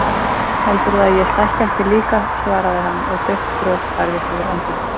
Heldurðu að ég stækki ekki líka, svaraði hann og dauft bros færðist yfir andlitið.